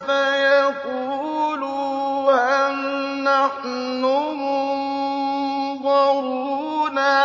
فَيَقُولُوا هَلْ نَحْنُ مُنظَرُونَ